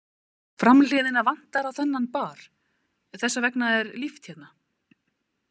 Framhliðina vantar á þennan bar, þessa vegna er líft hérna.